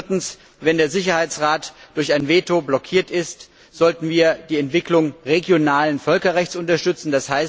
Viertens Wenn der Sicherheitsrat durch ein Veto blockiert ist, sollten wir die Entwicklung regionalen Völkerrechts unterstützen.